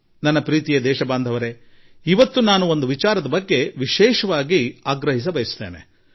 ನನ್ನ ಆತ್ಮೀಯ ದೇಶವಾಸಿಗಳೇ ನಾನು ಇಂದು ಒಂದು ಸಂಗತಿಯನ್ನು ವಿಶೇಷವಾಗಿ ಹೇಳಲಿಚ್ಛಿಸುತ್ತೇನೆ